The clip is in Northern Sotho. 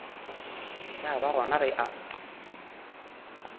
ya ba gona ge a